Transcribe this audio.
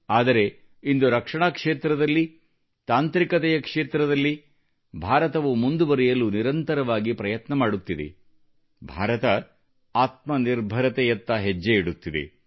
ಆದರೆ ಇಂದು ರಕ್ಷಣಾ ಕ್ಷೇತ್ರದಲ್ಲಿ ತಾಂತ್ರಿಕತೆಯ ಕ್ಷೇತ್ರದಲ್ಲಿ ಭಾರತವು ಮುಂದುವರೆಯಲು ನಿರಂತರವಾಗಿ ಪ್ರಯತ್ನ ಮಾಡುತ್ತಿದೆ ಭಾರತವು ಆತ್ಮನಿರ್ಭರತೆಯತ್ತ ಹೆಜ್ಜೆ ಇಡುತ್ತಿದೆ